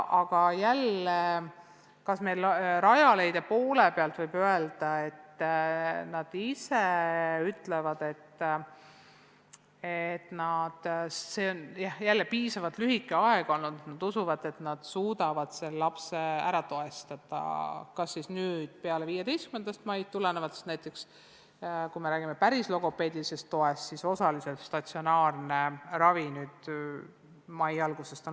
Aga jälle, meil Rajaleidja ütleb, et kriisiaeg on olnud piisavalt lühike, ja nad usuvad, et suudavad neile lastele tuge pakkuda – kas nüüd peale 15. maid või, kui räägime logopeedilisest toest, siis osaliselt on statsionaarne ravi olnud võimalik juba mai algusest.